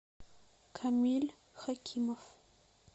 камиль хакимов